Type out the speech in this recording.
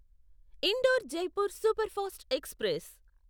indoor Jaipur superfast express